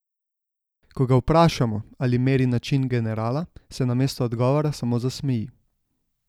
Ko ga vprašamo, ali meri na čin generala, se namesto odgovora samo zasmeji.